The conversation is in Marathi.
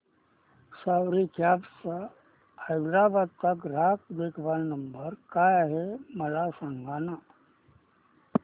सवारी कॅब्स हैदराबाद चा ग्राहक देखभाल नंबर काय आहे मला सांगाना